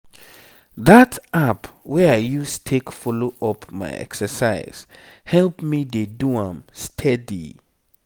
that app wey i use take follow up my exercise help me dey do am steady.